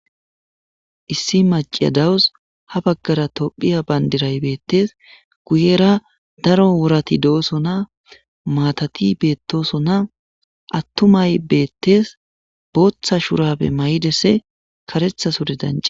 issi maciya dawus ha baggara tophiya bandiray beettes guyera daro wurati dooso na maatati beettoso na attumay beettees booththa shurapbe may7idesse karetha sure dani